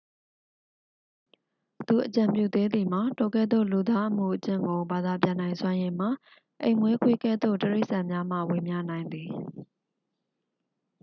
သူအကြံပြုသေးသည်မှာ ထိုကဲ့သို့ လူသားအမူအကျင့်ကို ဘာသာပြန်နိုင်စွမ်းရည်မှာ အိမ်မွေးခွေးကဲ့သို့တိရိစာ္ဆန်များမှ ဝေမျှနိုင်သည်